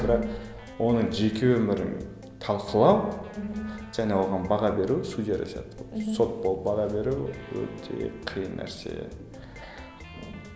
бірақ оның жеке өмірін талқылау және оған баға беру судьялар сияқты болып сот болып баға беру өте қиын нәрсе